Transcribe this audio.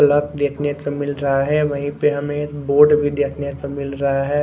Truck देखने को मिल रहा है वही पर हमे बोर्ड भी देखने को मिल रहा है।